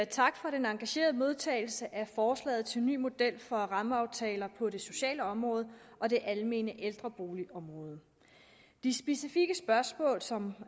tak for den engagerede modtagelse af forslaget til en ny model for rammeaftaler på det sociale område og det almene ældreboligområde de specifikke spørgsmål som